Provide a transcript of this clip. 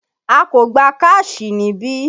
A kò gbà káàṣì níbí!